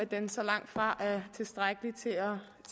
den så langtfra er tilstrækkelig til at